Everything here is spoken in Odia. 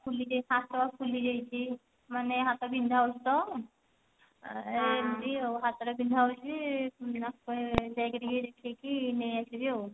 ହାତ ଫୁଲି ଯାଇଛି ମାନେ ହାତ ବିନ୍ଧା ହଉଛି ତ ଏମତି ଆଉ ହାତ ଟା ବିନ୍ଧା ହଉଛି ଆସିଲା ବେଳେ ଯାଇକି ଟିକେ ଦେଖେଇ କି ନେଇ ଆସିବି ଆଉ